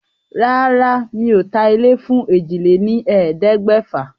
Rárá, mi ò ta ilé fún èjì lé ní ẹ̀ẹ́dẹ́gbẹ̀fà.